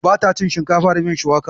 Ba ta cin shinkafa da miyar shuwaka